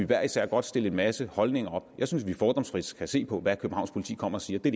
hver især godt stille en masse holdninger op jeg synes at vi fordomsfrit skal se på hvad københavns politi kommer og siger det